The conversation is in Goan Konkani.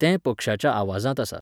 तें पक्ष्याच्या आवाजांत आसा.